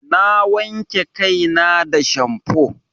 Na wanke kai na da shamfo.